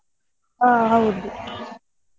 ಹಾ ಹೌದು.